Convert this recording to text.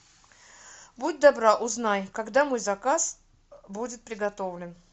будь добра узнай когда мой заказ будет приготовлен